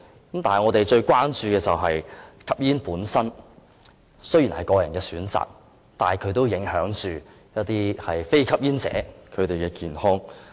但是，我們最關注的是，吸煙本身雖然是個人選擇，但也影響一些非吸煙者的健康。